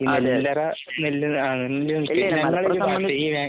ഇല്ല. നെല്ലറ